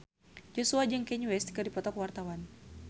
Joshua jeung Kanye West keur dipoto ku wartawan